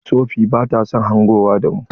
Sofee bata son hangowa da mu.